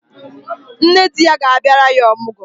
Nne di ya ga-abịara ya ọmụgwọ.